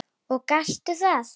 Og gastu það?